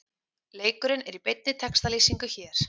Leikurinn er í beinni textalýsingu hér